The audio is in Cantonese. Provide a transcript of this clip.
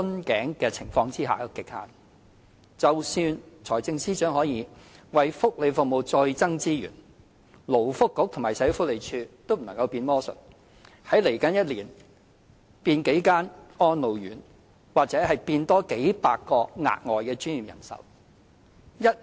即使財政司司長可以為福利服務再增撥資源，勞工及福利局和社會福利署亦不能變魔術，在未來一年內變多幾間安老院或數以百計額外專業人手。